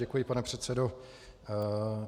Děkuji, pane předsedo.